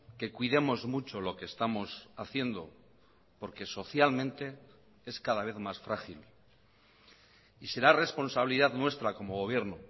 que cuidemos mucho lo que estamos haciendo porque socialmente es cada vez más frágil y será responsabilidad nuestra como gobierno